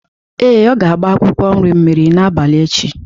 Ee, ọ ga-agba akwụkwọ nri mmiri n'abalị echi.